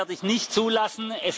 Auch das werde ich nicht zulassen.